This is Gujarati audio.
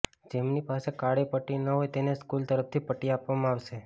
જેમની પાસે કાળી પટ્ટી ન હોય તેને સ્કૂલ તરફથી પટ્ટી આપવામાં આવશે